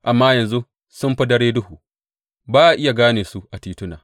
Amma yanzu sun fi dare duhu; ba a iya gane su a tituna.